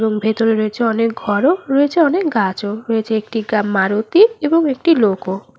এবং ভেতরে রয়েছে অনেক ঘরও রয়েছে অনেক গাছও রয়েছে একটি মারুতি এবং একটি লোকও।